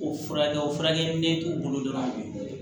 O furakɛ o furakɛli k'u bolo dɔrɔn